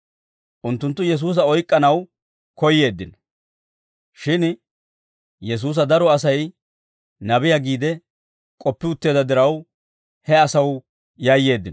Unttunttu Yesuusa oyk'k'anaw koyyeeddino; shin Yesuusa daro Asay nabiyaa giide k'oppi utteedda diraw, he asaw yayyeeddino.